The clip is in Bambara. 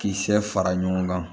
Kisɛ fara ɲɔgɔn kan